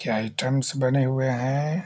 क्या आइटम्स बने हुए है।